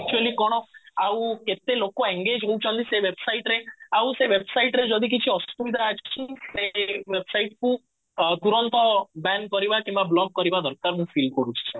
actually କଣ କେତେ ଆଉ କେତେ ଲୋକ engage ହଉଛନ୍ତି ସେ website ରେ ଆଉ ସେ website ରେ ଯଦି କିଛି ଅସୁବିଧା ସେ website କୁ ତୁରନ୍ତ ବ୍ୟାନ କରିବା କିମ୍ବା ବ୍ଲକ କରିବା ଦରକାର ମୁଁ feel କରୁଛି